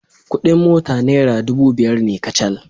Kuɗin mota naira dubu biyar ne kacal.